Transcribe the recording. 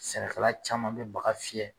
Sɛnɛkala caman bɛ baga fiyɛ.